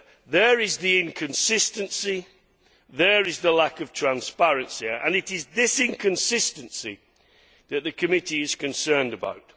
There is the inconsistency, there is the lack of transparency and it is this inconsistency that the committee is concerned about.